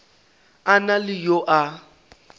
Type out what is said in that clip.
a na le yo a